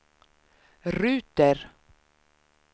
ruter